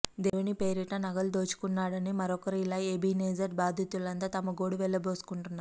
దేవుని పేరిట నగలు దోచుకున్నాడని మరొకరు ఇలా ఎబినేజర్ బాధితులంతా తమ గోడు వెల్లబోసుకుంటున్నారు